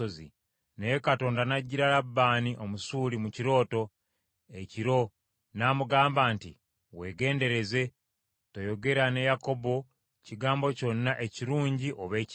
Naye Katonda n’ajjira Labbaani, Omusuuli, mu kirooto, ekiro, n’amugamba nti, “Weegendereze, toyogera na Yakobo kigambo kyonna, ekirungi oba ekibi.”